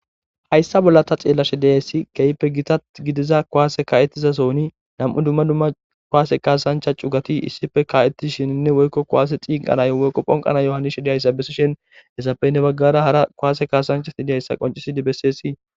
Haysa bolla xelashe dizays keehippe Gita gidida kuwasey ka'etiza sohon nam'u dumma dumma kuwase kasancha chigati issippe ka'etishininne woyko kuwase ciiqanoyo wohko phonqanayo hanide diyoga besishn hesappe hen bagara hara kuwase kasanchat dizaysa qoncisid beses.